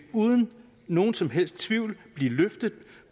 uden nogen som helst tvivl blive løftet